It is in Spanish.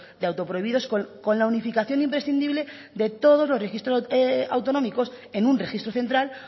de auto prohibidos con la unificación imprescindible de todos los registros autonómicos en un registro central